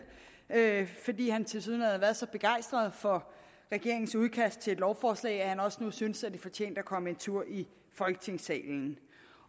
fordi han tilsyneladende har været så begejstret for regeringens udkast til et lovforslag at han også nu synes at det fortjente at komme en tur i folketingssalen